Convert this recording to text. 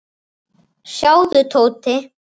Nína virtist á báðum áttum.